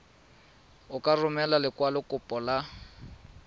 o tla romela lekwalokopo la